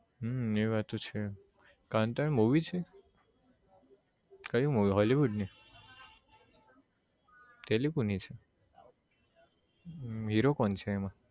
હમ એ વાત તો છે કાનથારા movie છે કઈ movie hollywood ની કેટલી કે હમ હીરો કોણ છે એમાં